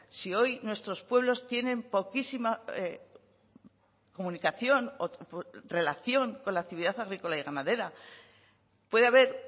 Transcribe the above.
si hoy nuestros pueblos tienen poquísima comunicación relación con la actividad agrícola y ganadera puede haber